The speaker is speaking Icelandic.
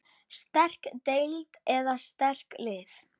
Sterk deild eða sterk lið?